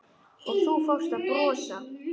Og þú fórst að brosa.